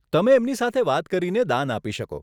તમે એમની સાથે વાત કરીને દાન આપી શકો.